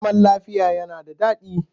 Zaman lafiya yana da daɗi